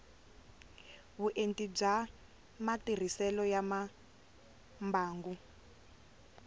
vuenti bya matirhiselo ya mimbangu